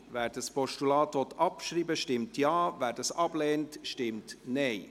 Wer das Postulat abschreiben will, stimmt Ja, wer es ablehnt, stimmt Nein.